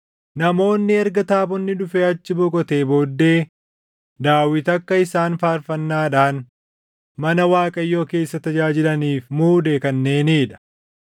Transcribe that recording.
Namoonni erga taabonni dhufee achi boqotee booddee Daawit akka isaan faarfannaadhaan mana Waaqayyoo keessa tajaajilaniif muude kanneenii dha.